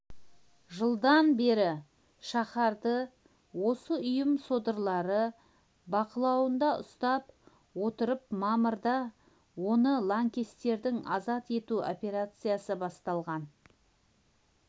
жылдан бері шаһарды осы ұйым содырлары бақылауында ұстап отырып мамырда оны лаңкестерден азат ету операциясы басталған